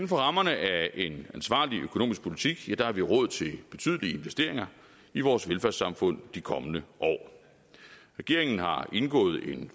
rammerne af en ansvarlig økonomisk politik har vi råd til betydelige investeringer i vores velfærdssamfund de kommende år regeringen har indgået en